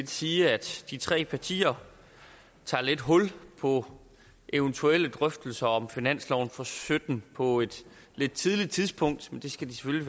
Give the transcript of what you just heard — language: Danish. sige at de tre partier tager lidt hul på eventuelle drøftelser om finansloven for sytten på et lidt tidligt tidspunkt det skal